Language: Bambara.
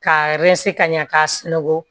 K'a ka ɲɛ k'a sunɔgɔ